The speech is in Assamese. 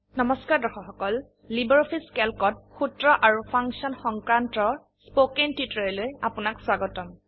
নমস্কাৰ দৰ্শক সকল লাইব্ৰঅফিছ ক্যালকত সূত্ৰ আৰু ফাংশন সংক্ৰান্ত স্পোকেন টিউটোৰিয়েললৈ আপোনাক স্বাগতম